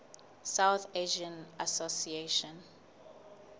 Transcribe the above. south asian association